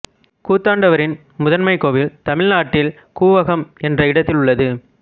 கூத்தாண்டவரின் முதன்மைக் கோவில் தமிழ் நாட்டில் கூவாகம் என்ற இடத்தில் உள்ளது